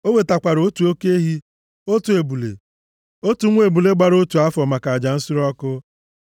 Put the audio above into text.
O wetakwara otu oke ehi, otu ebule, otu nwa ebule gbara otu afọ maka aja nsure ọkụ.